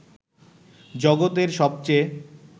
জগতের সবচেয়ে